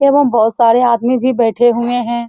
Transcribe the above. एवं बहुत सारे आदमी भी बैठे हुए हैं।